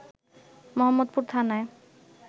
মোহাম্মদপুর থানায়